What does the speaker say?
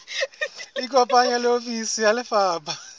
ikopanye le ofisi ya lefapha